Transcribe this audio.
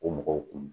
O mɔgɔw kun